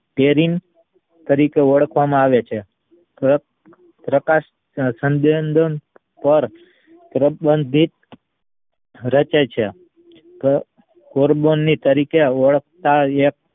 ફેરીન તરીકે ઓલખવા માં આવે છે પ્ર પ્રકાશ સંદ્યધાન દર પ્રબંધિત રચે છે તો carbonic તરીકે ઓળખાય છે